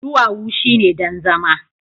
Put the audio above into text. duwawu shine don zama